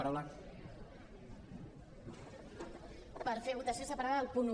per fer votació separada del punt un